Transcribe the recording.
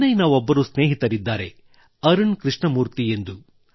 ಚೆನ್ನೈನ ಒಬ್ಬರು ಸ್ನೇಹಿತರಿದ್ದಾರೆ ಅರುಣ್ ಕೃಷ್ಣಮೂರ್ತಿ ಎಂದು